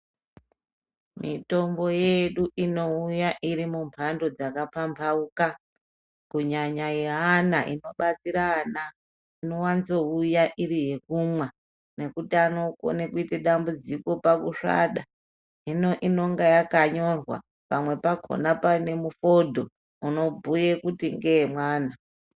Mitombo yedu inouya irimumbando dzaka pambauka kunyanya yeana inobatsira ana. Inowanzouya iriyekumwa nekuti anokona kuite dambudziko pakusvada, hino inonga yakanyorwa pamwe pakona pane mufodho uno bhuye kuti ngeyemwana.